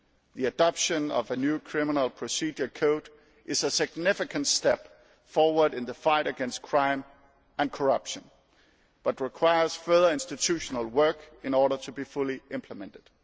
The adoption of a new criminal procedure code is a significant step forward in the fight against crime and corruption but requires further institutional work in order to be fully implemented.